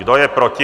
Kdo je proti?